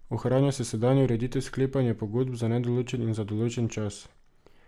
Ohranja se sedanja ureditev sklepanja pogodb za nedoločen in za določen čas.